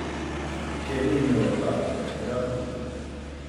Ker ni imel v rokah nobenega aduta.